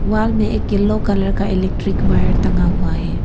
Wall मे एक yellow colour electric wire टंगा हुआ है।